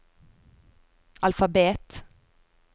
alfabet